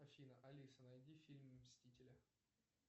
афина алиса найди фильм мстители